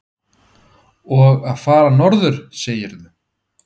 Og fara norður, segirðu?